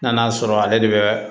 N'an y'a sɔrɔ ale de bɛ